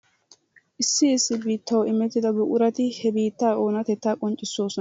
issi issi bittaasi imettiddaa buquratti he bittaa onatettaa qonccisosonnaa.